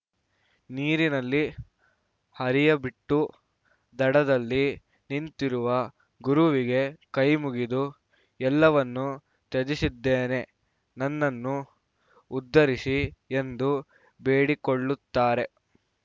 ನೀರಿನಲ್ಲಿ ಹರಿಯಬಿಟ್ಟು ದಡದಲ್ಲಿ ನಿಂತಿರುವ ಗುರುವಿಗೆ ಕೈಮುಗಿದು ಎಲ್ಲವನ್ನೂ ತ್ಯಜಿಸಿದ್ದೇನೆ ನನ್ನನ್ನು ಉದ್ಧರಿಸಿ ಎಂದು ಬೇಡಿಕೊಳ್ಳುತ್ತಾರೆ